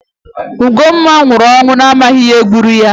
Ugomma nwụrụ ọnwụ amaghị ihe gburu ya